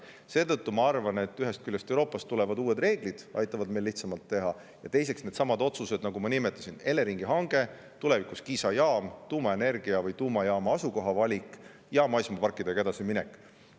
Seetõttu ma arvan, et ühest küljest aitavad Euroopast tulevad uued reeglid meil neid asju lihtsamalt teha ja teisest küljest needsamad otsused, mis ma nimetasin: Eleringi hange, tulevikus Kiisa jaam, tuumajaama asukoha valik ja maismaaparkidega edasiminek.